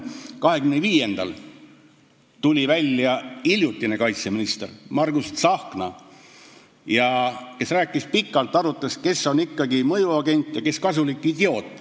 25-ndal tuli pika jutuga välja hiljutine kaitseminister Margus Tsahkna, arutledes, kes on ikkagi mõjuagent ja kes kasulik idioot.